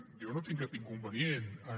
jo no tinc cap inconvenient en